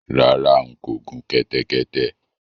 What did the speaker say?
Rárá, n kò gun kẹ́tẹ́kẹ́tẹ́